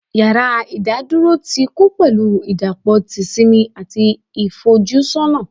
Yara idaduro ti kun pẹlu idapọ ti simi ati ifojusona